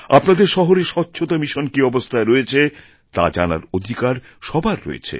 আপনাদের শহরে স্বচ্ছতা মিশন কি অবস্থায় রয়েছে তা জানার অধিকার সবার রয়েছে